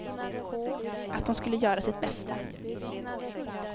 Att hon skulle göra sitt bästa.